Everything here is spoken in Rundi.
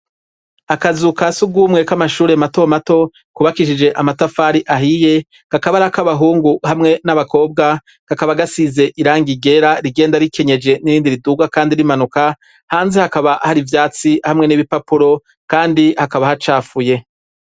Akazuka kasugumwe k'amashuri mato mato kubakishije amatafari ahiye gakabari ak'abahungu hamwe n'abakobwa. Kakaba gasize irangi ryera rigenda rikenyeje n'irindi riduga kandi rimanuka hanze hakaba hari ivyatsi hamwe n'ibipapuro kandi hakaba hacafuye.